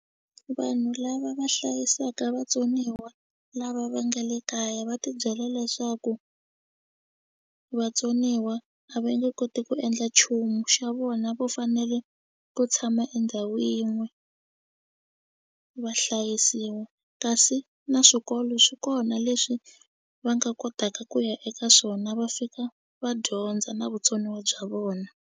Vanhu lava va hlayisaka vatsoniwa lava va nga le kaya va tibyela leswaku vatsoniwa a va nge koti ku endla nchumu xa vona vo fanele ku tshama endhawu yin'we va hlayisiwa kasi na swikolo swi kona leswi va nga kotaka ku ya eka swona va fika va dyondza na vutsoniwa bya vona.